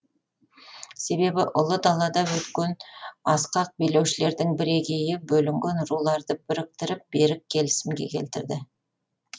себебі ұлы далада өткен асқақ билеушілердің бірегейі бөлінген руларды біріктіріп берік келісімге келтірді